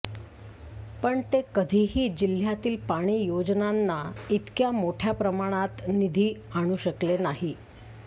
पण ते कधीही जिह्यातील पाणी योजनांना इतक्या मोठय़ा प्रमाणात निधी आणू शकले नाहीत